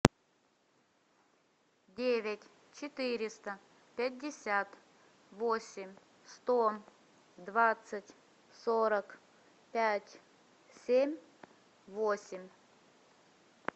девять четыреста пятьдесят восемь сто двадцать сорок пять семь восемь